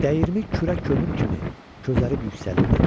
Dəyirmi kürə kömür kimi közərib yüksəlirdi.